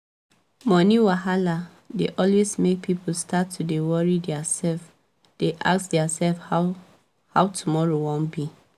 moni wahala dey always make people start to dey wori diaa self dey ask dia self how how 2moro wan be